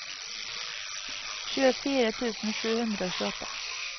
tjuefire tusen sju hundre og tjueåtte